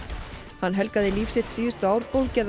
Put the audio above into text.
en helgaði líf sitt síðustu ár